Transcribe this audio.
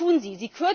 Was tun Sie?